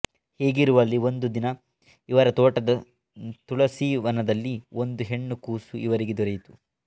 ಹೀಗಿರುವಲ್ಲಿ ಒಂದು ದಿನ ಇವರ ತೋಟದ ತುಳಸೀವನದಲ್ಲಿ ಒಂದು ಹೆಣ್ಣು ಕೂಸು ಇವರಿಗೆ ದೊರೆಯಿತು